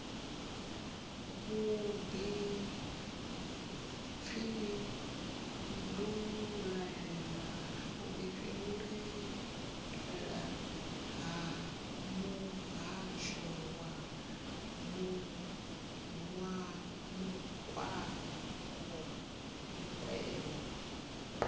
vhudifhinduleleli ha muhasho wa makwevho